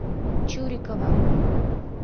чурикова